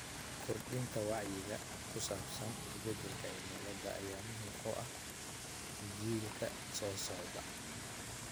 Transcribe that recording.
Kordhinta wacyiga ku saabsan isbedelka cimilada ayaa muhiim u ah jiilka soo socda.